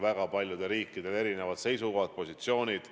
Väga paljudel riikidel on ju olnud erinevad seisukohad, positsioonid.